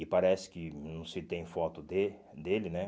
E parece que não se tem foto dele dele, né?